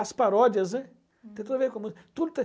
As paródias, ném tem tudo a ver com a música. Tudo